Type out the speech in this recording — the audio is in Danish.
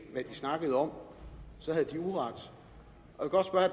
hvad de snakkede om så